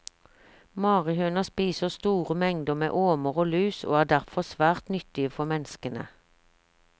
Marihøna spiser store mengder med åmer og lus og er derfor svært nyttige for menneskene.